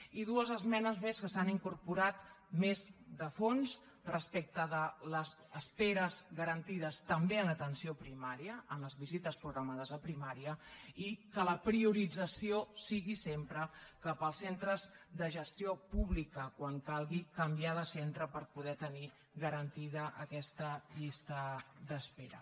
i dues esmenes més que s’han incorporat més de fons respecte de les esperes garantides també en atenció primària en les visites programades a primària i que la priorització sigui sempre cap als centres de gestió pública quan calgui canviar de centre per poder tenir garantida aquesta llista d’espera